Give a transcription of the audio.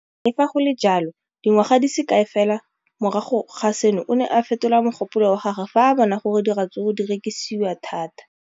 Le fa go le jalo, dingwaga di se kae fela morago ga seno, o ne a fetola mogopolo wa gagwe fa a bona gore diratsuru di rekisiwa thata.